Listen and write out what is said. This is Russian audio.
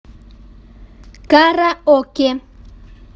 караоке